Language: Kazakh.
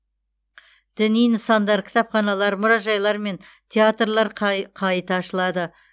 діни нысандар кітапханалар мұражайлар мен театрлар қайта ашылады